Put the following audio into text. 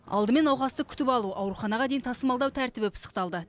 алдымен науқасты күтіп алу ауруханаға дейін тасымалдау тәртібі пысықталды